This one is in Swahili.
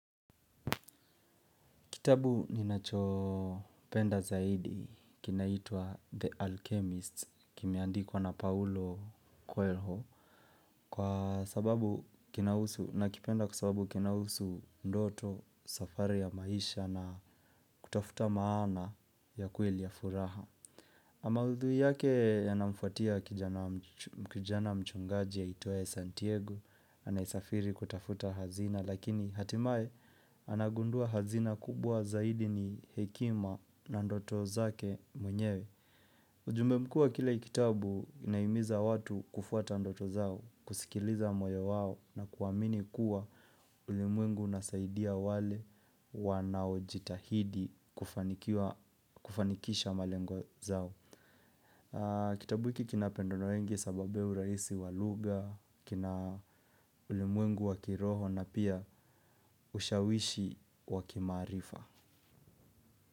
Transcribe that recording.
Kitabu ninachopenda zaidi kinaitwa The Alchemist kimeandikwa na Paulo Coelho. Kwa sababu kinahusu nakipenda kwasababu kinahusu ndoto safari ya maisha na kutafuta maana ya kweli ya furaha. Maudhui yake yanamfuatia kijana mchungaji aitwaye Santiago. Anayesafiri kutafuta hazina lakini hatimae anagundua hazina kubwa zaidi ni hekima na ndoto zake mwenyewe. Ujumbe mkuu kile kitabu inahimiza watu kufuata ndoto zao. Kusikiliza moyo wao na kuamini kuwa ulimwengu unasaidia wale wanaojitahidi kufanikisha malengo zao. Kitabu hiki kinapendwa wengi kwa sababu ya urahisi wa lugha. Kina ulimwengu wa kiroho na pia ushawishi wa kimaarifa.